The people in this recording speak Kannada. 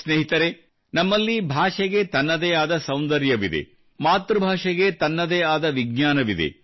ಸ್ನೇಹಿತರೇ ನಮ್ಮಲ್ಲಿ ಭಾಷೆಗೆ ತನ್ನದೇ ಆದ ಸೌಂದರ್ಯವಿದೆ ಮಾತೃಭಾಷೆಗೆ ತನ್ನದೇ ಆದ ವಿಜ್ಞಾನವಿದೆ